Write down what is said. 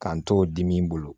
K'an t'o dimi bolo